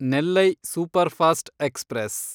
Nellai superfast express